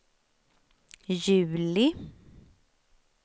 juli